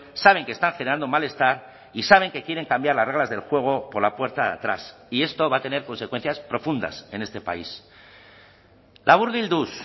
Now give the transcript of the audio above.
saben que están generando malestar y saben que quieren cambiar las reglas del juego por la puerta de atrás y esto va a tener consecuencias profundas en este país laburbilduz